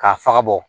K'a faga bɔ